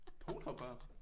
Donorbørn?